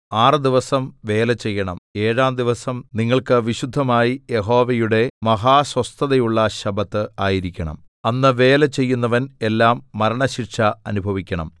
ആറ് ദിവസം വേല ചെയ്യണം ഏഴാം ദിവസം നിങ്ങൾക്ക് വിശുദ്ധമായി യഹോവയുടെ മഹാസ്വസ്ഥതയുള്ള ശബ്ബത്ത് ആയിരിക്കണം അന്ന് വേല ചെയ്യുന്നവൻ എല്ലാം മരണശിക്ഷ അനുഭവിക്കണം